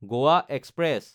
Goa express